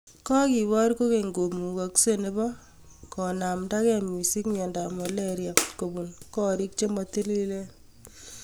Kokepoor kokeny' kamukakseet nebo konaamdakeei missing' myondo ap malaria kobuun koriik chemotiliilen